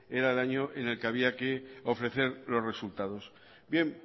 era el año en el que había que ofrecer los resultados bien